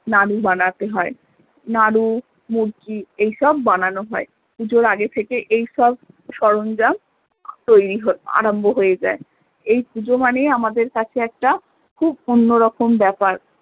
নাড়ু বানাতে হয় নাড়ু মুড়কি এসব বানানো হয় পুজোর আগেই থেকে এই সব সরঞ্জাম তৈরি আরম্ভ হয়ে যাই এই পুজো মানে আমাদের কাছে একটা খুব অন্য রকম ব্যাপার